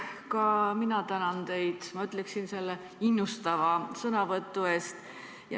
Ka mina tänan teid, ma ütleksin, innustava sõnavõtu eest.